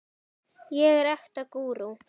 ég er ekta gúrú.